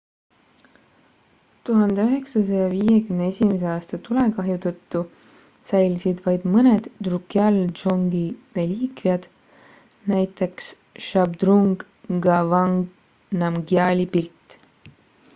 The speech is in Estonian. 1951 aasta tulekahju tõttu säilisid vaid mõned drukgyal dzongi reliikviad näiteks zhabdrung ngawang namgyali pilt